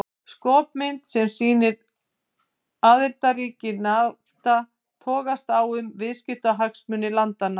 Skopmynd sem sýnir aðildarríki Nafta togast á um viðskiptahagsmuni landanna.